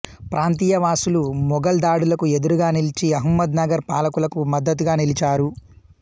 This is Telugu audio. ప్రాంతీయ వాసులు మొఘల్ దాడులకు ఎదురుగా నిలిచి అహమ్మద్ నగర్ పాలకులకు మద్దతుగా నిలిచారు